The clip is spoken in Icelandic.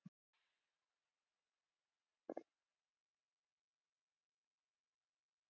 En kom ég auga á hann?